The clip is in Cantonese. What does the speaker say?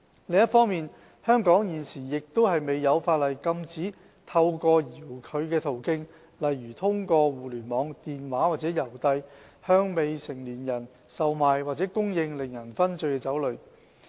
另一方面，香港現時亦未有法例禁止透過遙距途徑，例如互聯網、電話或郵遞，向未成年人售賣或供應令人醺醉的酒類。